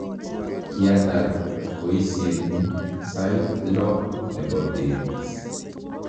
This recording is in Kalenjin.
kiatar boisienyu sait lo nebo beet